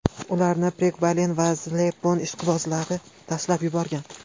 Ularni pregabalin va zaleplon ishqibozlari tashlab yuborgan.